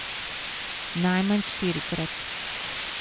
Najmanj štirikrat.